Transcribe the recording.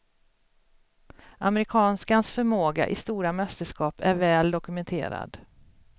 Amerikanskans förmåga i stora mästerskap är väl dokumenterad.